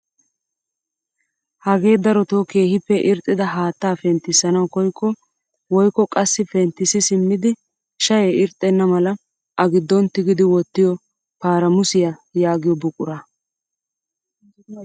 Hagee darotoo keehippe irxxida haattaa penttisanawu koyikko woykko qassi penttisi simmidi shayee irxxena mala a giddon tigidi wottiyoo permusyaa yaagiyoo buqura.